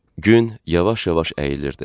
Gün yavaş-yavaş əyilirdi.